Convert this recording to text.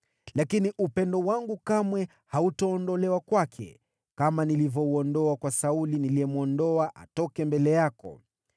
Lakini upendo wangu kamwe hautaondolewa kwake, kama nilivyouondoa kwa Sauli, niliyemwondoa atoke mbele yako.